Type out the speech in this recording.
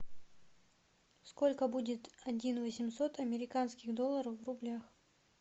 сколько будет один восемьсот американских долларов в рублях